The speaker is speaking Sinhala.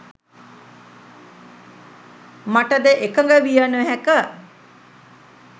මටද එකඟ විය නොහැක.